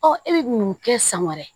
Ɔ e bɛ mun kɛ san wɛrɛ